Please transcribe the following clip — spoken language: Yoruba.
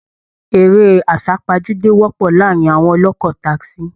Eré àsàpajúdé wọpọ̀ láàárin àwọn ọlọ́kọ tasí